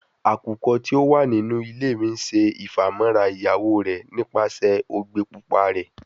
Akukọ ti o wa ninu ile mi ṣe ifamọra iyawo rẹ nipasẹ ogbe pupa rẹ